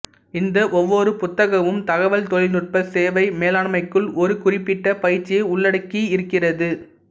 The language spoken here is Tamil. இந்த ஒவ்வொரு புத்தகமும் தகவல் தொழில்நுட்ப சேவை மேலாண்மைக்குள் ஒரு குறிப்பிட்ட பயிற்சியை உள்ளடக்கி இருக்கிறது